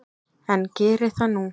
En geri það nú.